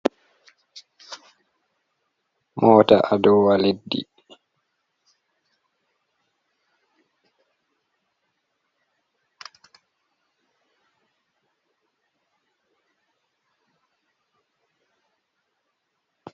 Mota a dowa leɗɗi.